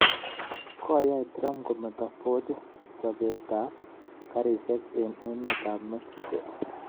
Koyai Trump kometo Ford chobeet ab karisyek eng emet ab Mexico